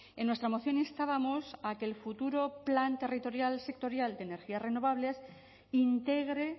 en nuestra moción instábamos a que el futuro plan territorial sectorial de energías renovables integre